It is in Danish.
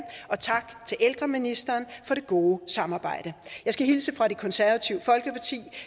og tak til ældreministeren for det gode samarbejde jeg skal hilse fra det konservative folkeparti